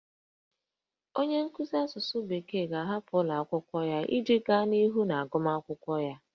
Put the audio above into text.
Onye nkuzi asụsụ bekee ga-ahapụ ụlọ akwụkwọ ahụ iji gaa n'ihu n'agụmakwụkwọ ya